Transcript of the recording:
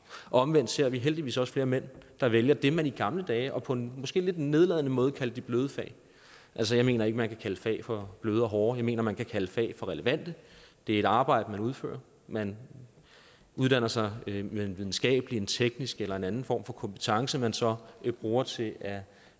omvendt ser vi heldigvis også flere mænd der vælger det man i gamle dage og på en måske lidt nedladende måde kaldte de bløde fag altså jeg mener ikke at man kan kalde fag for bløde og hårde jeg mener at man kan kalde fag for relevante det er et arbejde man udfører man uddanner sig med en videnskabelig en teknisk eller en anden form for kompetence man så bruger til at